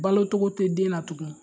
Balocogo tɛ den na tugun